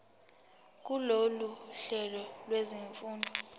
kulolu hlelo lwezifundo